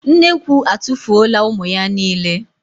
Nnekwu atụfuola ụmụ ya niile.